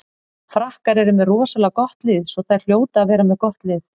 Frakkar eru með rosalega gott lið svo þær hljóta að vera með gott lið.